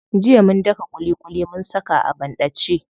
Jiya mun daka ƙuliƙuli mun saka a banɗace.